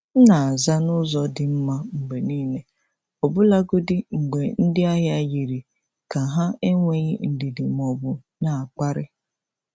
M na-aza n’ụzọ dị mma mgbe niile, ọbụlagodi mgbe ndị ahịa yiri ka ha enweghị ndidi ma ọ bụ na-akparị.